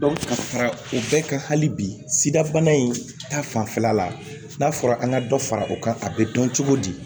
ka fara o bɛɛ kan hali bi sida bana in ta fanfɛla la n'a fɔra an ka dɔ fara o kan a be dɔn cogo di